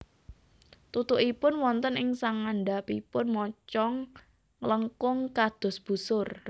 Tutukipun wonten ing sangandhapipun mocong nglengkung kados busur